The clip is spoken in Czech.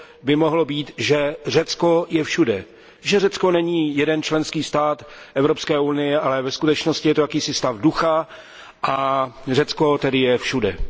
by mohlo být, že Řecko je všude, že Řecko není jeden členský stát Evropské unie, ale ve skutečnosti je to jakýsi stav ducha, a Řecko tedy je všude.